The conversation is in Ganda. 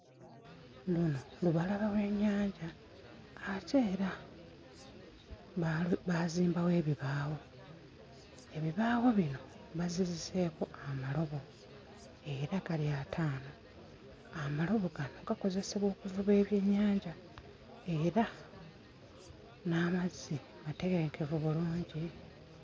Luno lubalama lw'ennyanja ate era baalu baazimbawo ebibaawo ebibaawo bino baziriseeko amalobo era gali ataano amalobo gano gakozesebwa okuvuba ebyennyanja era n'amazzi matebenkevu bulungi.